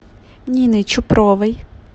нины чупровой